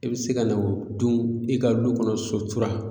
I be se ka na o dun e ka lu kɔnɔ sutura